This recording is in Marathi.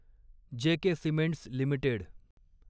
जे के सिमेंट्स लिमिटेड